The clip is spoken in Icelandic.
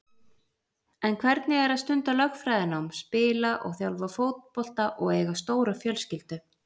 En hvernig er að stunda lögfræðinám, spila og þjálfa fótbolta og eiga stóra fjölskyldu?